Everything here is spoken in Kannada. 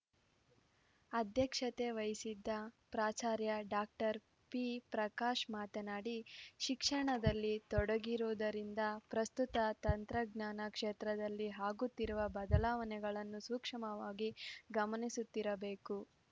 ಅಧ್ಯಕ್ಷತೆ ವಹಿಸಿದ್ದ ಪ್ರಾಚಾರ್ಯ ಡಾಕ್ಟರ್ ಪಿಪ್ರಕಾಶ ಮಾತನಾಡಿ ಶಿಕ್ಷಣದಲ್ಲಿ ತೊಡಗಿರುವುದರಿಂದ ಪ್ರಸ್ತುತ ತಂತ್ರಜ್ಞಾನ ಕ್ಷೇತ್ರದಲ್ಲಿ ಆಗುತ್ತಿರುವ ಬದಲಾವಣೆಗಳನ್ನು ಸೂಕ್ಷ್ಮವಾಗಿ ಗಮನಿಸುತ್ತಿರಬೇಕು